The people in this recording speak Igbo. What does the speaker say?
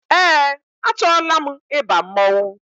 Eé, achọọla m ịba mmọnwụ.